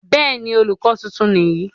bẹ́ẹ̀ni, olùkọ tuntun nìyí